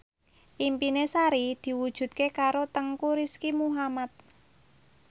impine Sari diwujudke karo Teuku Rizky Muhammad